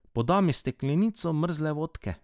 Poda mi steklenico mrzle vodke.